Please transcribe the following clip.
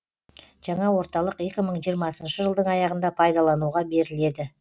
жаңа орталық екі мың жиырмасыншы жылдың аяғында пайдалануға беріледі